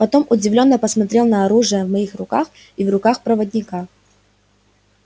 потом удивлённо посмотрел на оружие в моих руках и в руках проводника